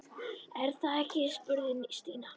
Er það ekki? spurði Stína.